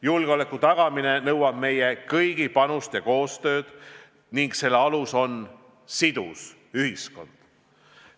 Julgeoleku tagamine nõuab meie kõigi panust ja koostööd ning selle alus on sidus ühiskond.